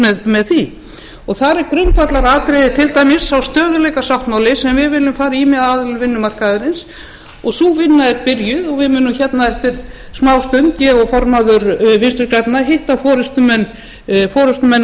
grannt með því þar er grundvallaratriðið til dæmis sá stöðugleikasáttmáli sem við viljum fara í með aðilum vinnumarkaðarins og sú vinna er byrjuð og við munum hérna eftir smástund ég og formaður vinstri grænna hitta forustumenn aðila